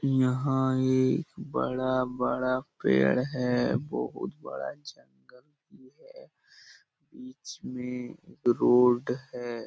यहाँ एक बड़ा-बड़ा पेड़ है बहुत बड़ा जंगल भी है बिच में रोड है ।